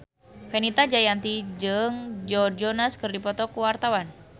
Fenita Jayanti jeung Joe Jonas keur dipoto ku wartawan